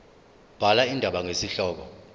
bhala indaba ngesihloko